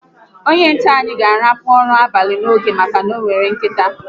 Onye nche anyi ga a lakpu ụra abalị n'oge maka na onwere nkịta